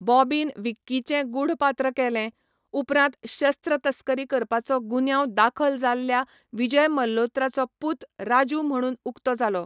Bobbin विक्कीचें गूढ पात्र केलें, उपरांत शस्त्र तस्करी करपाचो गुन्यांव दाखल जाल्ल्या विजय मल्होत्राचो पूत राजू म्हणून उक्तो जालो.